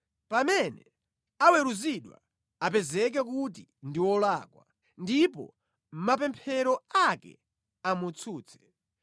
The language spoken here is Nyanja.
Pamene aweruzidwa, apezeke kuti ndi wolakwa, ndipo mapemphero ake amutsutse.